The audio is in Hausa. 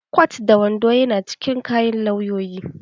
Kwat da wando ya na cikin kayan lauyoyi